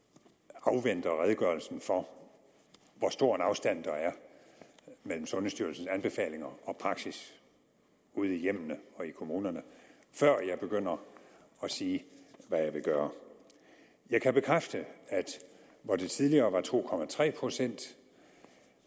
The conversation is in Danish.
afventer redegørelsen for hvor stor en afstand der er mellem sundhedsstyrelsens anbefalinger og praksis ude i hjemmene og i kommunerne før jeg begynder at sige hvad jeg vil gøre jeg kan bekræfte at hvor det tidligere var to procent